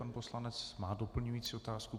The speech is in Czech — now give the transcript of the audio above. Pan poslanec má doplňující otázku.